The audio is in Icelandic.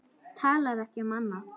Talar ekki um annað.